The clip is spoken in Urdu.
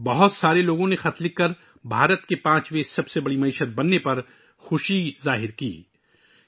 بہت سے لوگوں نے خطوط لکھے جس میں ہندوستان کے پانچویں سب سے بڑی معیشت بننے پر خوشی کا اظہار کیا گیا